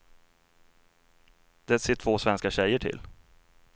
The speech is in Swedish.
Det ser två svenska tjejer till.